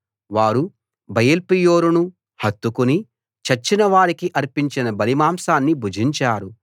వారు బయల్పెయోరును హత్తుకుని చచ్చిన వారికి అర్పించిన బలిమాంసాన్ని భుజించారు